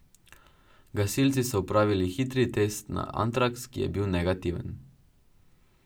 Gasilci so opravili hitri test na antraks, ki je bil negativen.